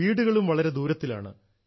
വീടുകളും വളരെ ദൂരത്തിലാണ്